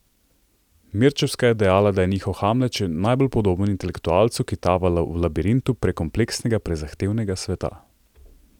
Mirčevska je dejala, da je njihov Hamlet še najbolj podoben intelektualcu, ki tava v labirintu prekompleksnega, prezahtevnega sveta.